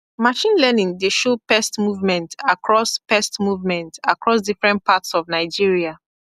machine learning dey show pest movement across pest movement across different parts of nigeria